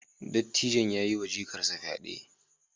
Dattijon ya yiwa jikarsa fyade.